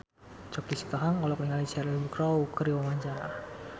Choky Sitohang olohok ningali Cheryl Crow keur diwawancara